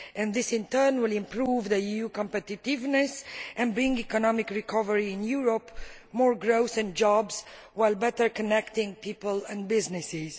This will, in turn, improve the EU's competitiveness and bring economic recovery in Europe as well as more growth and jobs, while better connecting people and businesses.